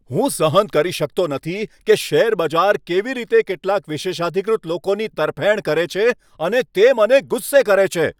હું સહન કરી શકતો નથી કે શેરબજાર કેવી રીતે કેટલાક વિશેષાધિકૃત લોકોની તરફેણ કરે છે અને તે મને ગુસ્સે કરે છે.